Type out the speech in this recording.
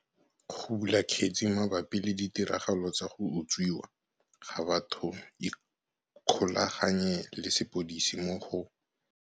Go bula kgetse mabapi le ditiragalo tsa go utswiwa ga batho ikgolaganye le sepodisi mo go.